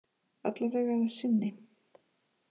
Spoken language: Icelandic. Alla vega að sinni